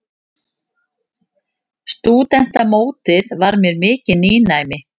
Stúdentamótið var mér mikið nýnæmi.